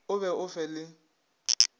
o be o fe le